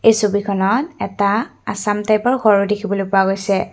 এই ছবিখনত এটা আচাম টাইপৰ ঘৰ দেখিবলৈ পোৱা গৈছে।